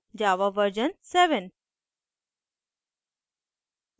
* java version 7